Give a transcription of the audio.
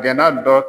Jɛnɛ dɔ